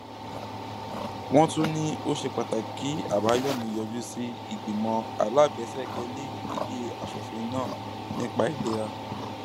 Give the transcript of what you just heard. wọn tún ní ó ṣe pàtàkì kí àbáyọmí yọjú sí ìgbìmọ alábẹsẹkẹlé ilé asòfin náà nípa ìlera